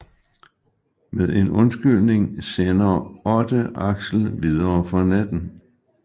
Med en undskyldning sender Otte Axel videre for natten